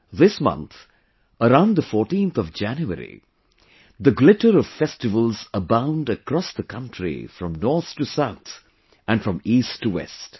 This month, around the 14th of January, the glitter of festivals abound across the country from north to south and from east to west